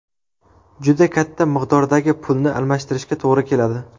Juda katta miqdordagi pulni almashtirishga to‘g‘ri keladi.